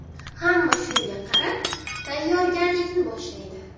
Hamma shunga qarab, tayyorgarlikni boshlaydi.